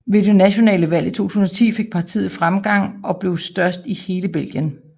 Ved det nationale valg i 2010 fik partiet fremgang og blev størst i hele Belgien